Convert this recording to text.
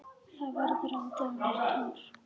Það verður aldrei annar Thor.